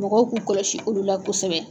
Mɔgɔw k'u kɔlɔsi olu la kosɛbɛ.